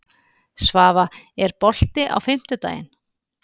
Svafa, er bolti á fimmtudaginn?